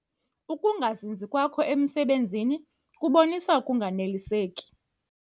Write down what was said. Uukungazinzi kwakho emisebenzini kubonisa ukunganeliseki.